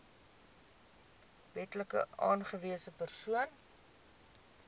wetlik aangewese persoon